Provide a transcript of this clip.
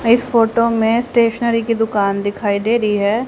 इस फोटो में स्टेशनरी की दुकान दिखाई दे रहीं हैं।